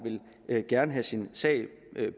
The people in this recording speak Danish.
gerne vil have sin sag